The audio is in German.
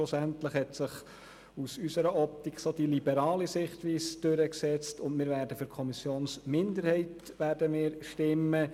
Schlussendlich hat sich in der Fraktion die liberale Sichtweise durchgesetzt, und wir werden für die Kommissionsminderheit stimmen.